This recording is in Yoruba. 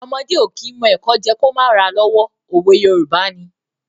Ọmọdé ò kí mọ ẹ̀kọ jẹ́ ẹ kó má ra lọ́wọ́. òwe Yorùbá ni.